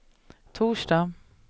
torsdag